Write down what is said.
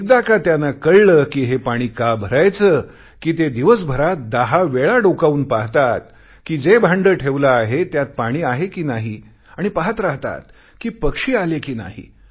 एकदा का त्यांना कळले कि हे पाणी का भरायचे कि ते दिवसभरात 10 वेळा डोकावून पाहतात कि जे भांडे ठेवलेले आहे त्यात पाणी आहे कि नाही आणि पाहत राहतात कि पक्षी आले कि नाही